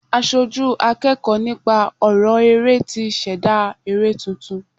Aṣojú akẹ́kọ̀ọ́ nípa ọrọ eré tí ṣẹ̀dá eré tuntun.